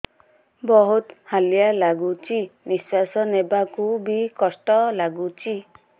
ବହୁତ୍ ହାଲିଆ ଲାଗୁଚି ନିଃଶ୍ବାସ ନେବାକୁ ଵି କଷ୍ଟ ଲାଗୁଚି